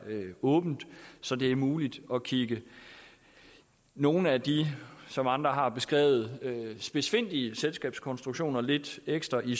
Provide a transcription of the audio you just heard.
åbent så det er muligt at kigge nogle af de som andre har beskrevet dem spidsfindige selskabskonstruktioner lidt ekstra i